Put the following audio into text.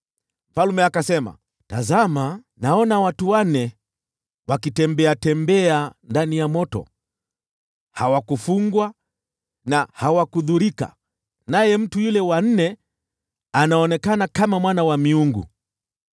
Mfalme akasema, “Tazama! Naona watu wanne wakitembeatembea ndani ya moto, hawajafungwa wala kudhurika, naye mtu yule wa nne anaonekana kama mwana wa miungu.”